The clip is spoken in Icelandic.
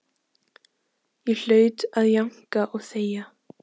Ég hlaut að jánka og þegja.